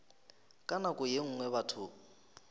ka nako ye nngwe batho